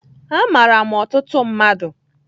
Amaara m ọtụtụ mmadụ